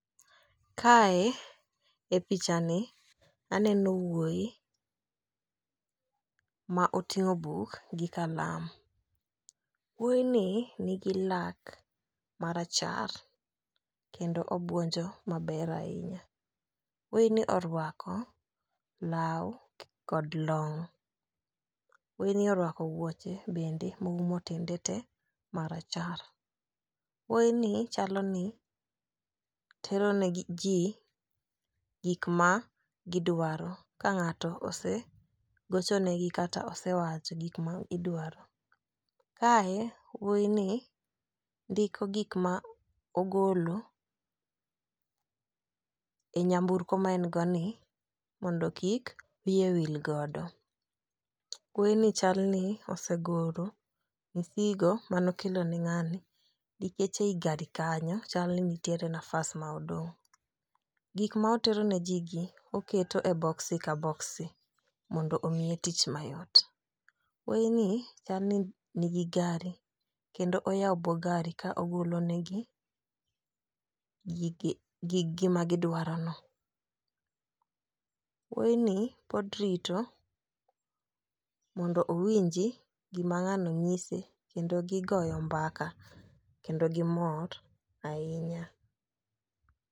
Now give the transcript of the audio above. Kae e picha ni aneno wuoyi ma oting'o buk gi kalam. Wuoyi ni nigi lak marachar kendo obuonjo maber ahinya. Wuoyi ni orwako law kod long. Wuoyi ni orwako wuoche bende moumo tiende te marachar. Wuoyi ni chalo ni tero ne gi jii gik ma gidwaro kang'ato osegocho negi kata osewacho gik ma idwaro. Kae wuoyi ni ndiko gik ma ogolo e nyamburko ma en go ni mondo kik wiye wil godo. Wuoyi ni chal ni osegolo gigo manokelo ne ng'ani nikech ei gari kanyo chal ni nitie nafas ma odong'. Gik ma otero ne jii gi oketo e boxi ka boxi mondo omiye tich mayot. Wuoyi ni chal no nigi gari kendo oywao buo gari ka ogolo ne gi gige gige ma gidwaro no. Wuoyi ni pod rito mondo owinji gima ng'ani nyise kendo gigoyo mbaka kendo gimor ahinya.